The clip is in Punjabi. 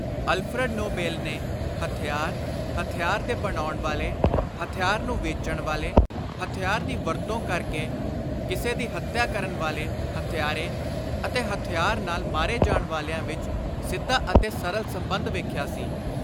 ਅਲਫਰਡ ਨੋਬੈਂਲ ਨੇ ਹਥਿਆਰ, ਹਥਿਆਰ ਦੇ ਬਣਾਉਣ ਵਾਲੇ, ਹਥਿਆਰ ਨੂੰ ਵੇਚਣ ਵਾਲੇ, ਹਥਿਆਰ ਦੀ ਵਰਤੋਂ ਕਰ ਕੇ ਕਿਸੇ ਦੀ ਹੱਤਿਆ ਕਰਨ ਵਾਲੇ ਹੱਤਿਆਰੇ ਅਤੇ ਹਥਿਆਰ ਨਾਲ ਮਾਰੇ ਜਾਣ ਵਾਲਿਆਂ ਵਿਚ ਸਿੱਧਾ ਅਤੇ ਸਰਲ ਸੰਬੰਧ ਵੇਖਿਆ ਸੀ।